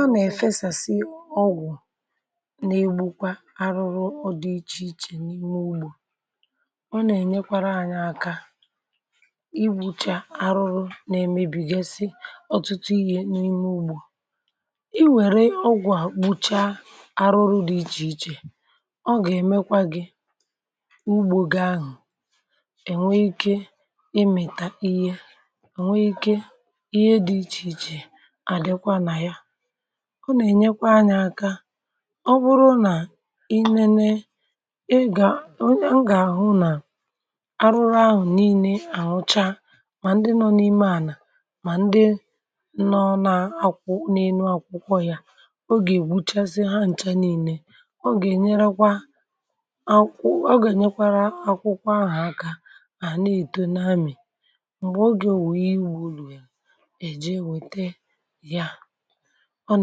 um A nà-èfesàsị ọgwụ̀, na-egbukwa arụrụ dị iche iche n’ime ugbò. Ọ nà-ènyekwarà anyị aka, ibùcha arụrụ nà emebìgesi ọ̀tụtụ ihe n’ime ugbò. Ị wère ọgwụ̀, àgbụcha arụrụ dị iche iche, ọ gà-èmekwa gị ugbò gị ahụ̀, enwe ike imètà ihe, enwe ike ihe dị iche iche. Àdịkwa nà ya um ọ nà-ènyekwa anyà aka. Ọ bụrụ nà i nènè, e gà onye m gà àhụ nà arụrụ ahụ̀ niile àhụchà, mà ndị nọ n’ime ànà, mà ndị nọ n’àkwụkwọ n’elu akwụkwọ. Ya gà-ègbuchasi ha ǹcha niile. Ọ gà-ènyekwa akwụkwọ,.. ọ gà-ènyekwarà akwụkwọ ahụ̀ aka. À na-èto na mmì. M̀gbè o gà, ò wèe iwù rùrù, èje, wète ya, ọ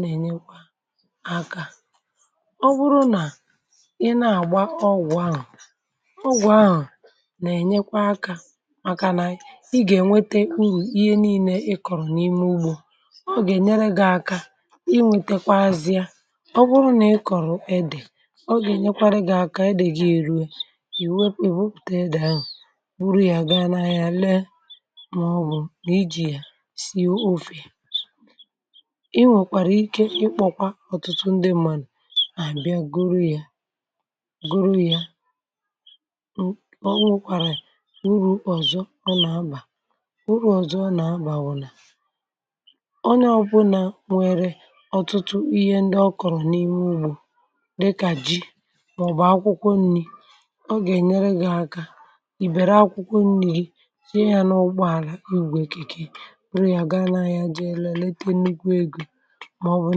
nà-ènyekwa akà. Ọ bụrụ nà ị na-àgba ọgwụ̀ ahụ̀ um ọgwụ̀ ahụ̀ nà-ènyekwa akà, mākà nà ị gà-ènwete u̇ ihe niile ị kọ̀rọ̀ n’ime ugbò. Ọ gà-ènyere gị aka, ị nwete kwa azịa. Ọ bụrụ nà ị kọ̀rọ̀ edè, ọ gà-ènyekwa gị aka, edè gà-èru, è wè ebepùtè dàyàrụ̀. um Bùrù ya, gaa na ya, lee, màọbụ̀ nà ijì ya. Ị nwekwara ike ikpọ̇kwa ọ̀tụtụ ndị mmà nà mà, bịa goro ya, goro ya. Ọ nwụ̀kwàrà urù ọzọ, ọ nà-abà urù ọzọ. Ọ nà-abà wụ̀ nà,... ọ nà ọbụla, um nwèrè ọ̀tụtụ ihe ndị ọ kọ̀rọ̀ n’ime ugbò, dịkà ji, mà ọ̀ bụ̀ akwụkwọ nri̇. Ọ gà-ènyere gị̇ ẹ̀kà ìbèrè akwụkwọ nri̇ gị, sie ya n’ụgbọ àlà, igwe èkèkè, màọbụ̀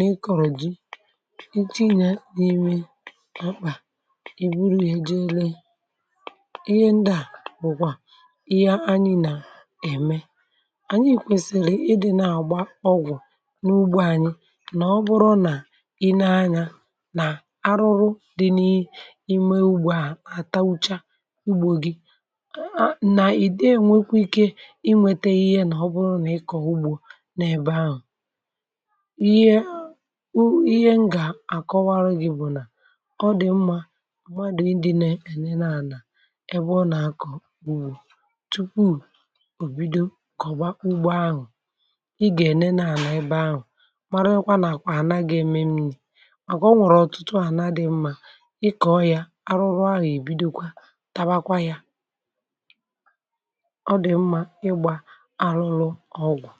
n’ikọ̀rọ̀ ji, iji̇ nà-enwe mọ̀kpà, ibùrù ihe, jee lee ihe ndị ahụ̀. À bụ̀kwà ihe anyị nà-ème... Ànyị̀ ìkwèsìrì ịdị̇ na-àgba ọgwụ̀ n’ugbò anyị. Nà ọ bụrụ nà i nènè anyà, nà arụrụ dị n’ime ugbò, à àtaucha ugbò gị um a nà-ìde. Ènwekwara ike i nwete ihe. Nà ọ bụrụ nà ị kọ̀hụ̀gbọ̀ na ebe ahụ̀, ihe wu ihe. M gà àkọwarụ gị̇ bụ̀ nà ọ dị̀ mma, gwa ndị ne-enye nà ànà, ebe ọ nà-akọ̀, bùtù, pụọ̀, bido kọ̀ba ugbò ahụ̀.Ị gà nènè à nà ebe ahụ̀ um mārà, ịkwa nà àkwà, àna gị̇ eme m nri̇,.. mākà ọ nwèrè ọ̀tụtụ ànà dị̇ mma. Ị kọ̀ọ ya, arụrụ ahụ̀ èbidokwa, tàwakwà ya. Ọ dị̀ mma, ịgbà arụrụ ọgụ̀.